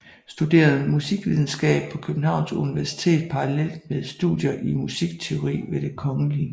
Studerede musikvidenskab på Københavns Universitet parallelt med studier i musikteori ved Det Kgl